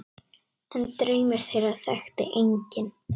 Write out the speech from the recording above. En draum þeirra þekkti enginn.